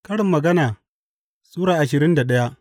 Karin Magana Sura ashirin da daya